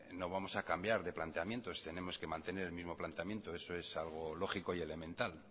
no vamos a cambiar de planteamientos tenemos que mantener el mismo planteamiento eso es algo lógico y elemental